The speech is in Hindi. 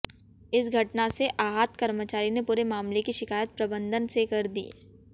इस घटना से आहत कर्मचारी ने पूरे मामले की शिकायत प्रबंधन से कर दी